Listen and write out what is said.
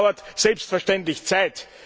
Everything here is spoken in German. Und das dauert selbstverständlich Zeit.